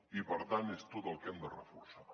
i per tant és tot el que hem de reforçar